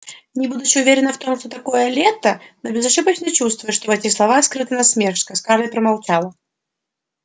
не будучи уверена в том что такое лета но безошибочно чувствуя что в этих словах скрыта насмешка скарлетт промолчала